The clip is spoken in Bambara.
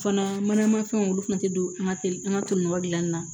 Fana mana fɛnw olu fana tɛ don an ka teli an ka toliyɔrɔ dilanni na